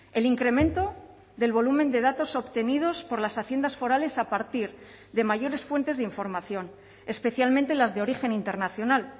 el incremento del volumen de datos obtenidos por las haciendas forales a partir de mayores fuentes de información especialmente las de origen internacional